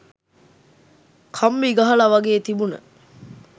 කම්බි ගහල වගේ තිබුන.